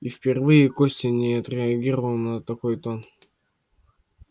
и впервые костя не отреагировал на такой тон